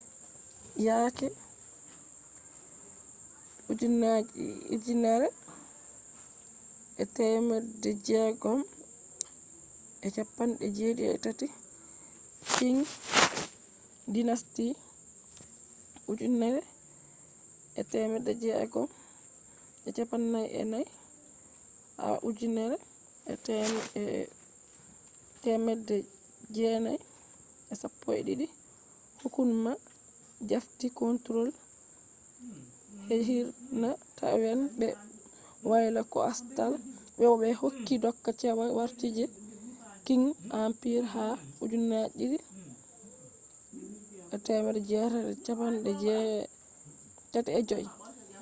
yake 1683,qing dynasty 1644-1912 hukuma jafti control je hirna taiwan be wayla coastal bo ɓe hokki doka cewa warti je qing empire ha 1885